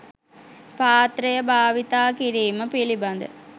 පාත්‍රය භාවිත කිරීම පිළිබඳ